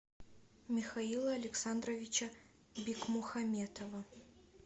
михаила александровича бикмухаметова